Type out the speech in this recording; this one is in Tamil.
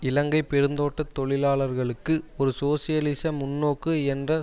இலங்கை பெருந்தோட்ட தொழிலாளர்களுக்கு ஒரு சோசியலிச முன்நோக்கு என்ற